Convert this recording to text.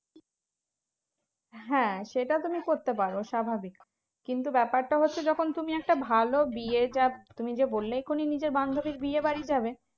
হ্যাঁ সেটা তুমি করতে পারো স্বভাবিক। কিন্তু ব্যাপারটা হচ্ছে, যখন তুমি একটা ভালো বিয়ে তুমি যে বললে এখুনি নিজের বান্ধবীর বিয়েবাড়ি যাবে